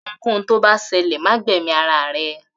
Ohunkóhun tó bá ṣẹlẹ̀ ma gbẹ̀mí ara rẹ